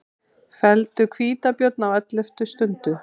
Felldu hvítabjörn á elleftu stundu